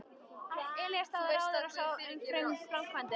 Elías lagði á ráðin og sá um framkvæmdir.